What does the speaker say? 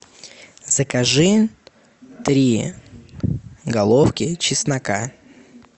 закажи три головки чеснока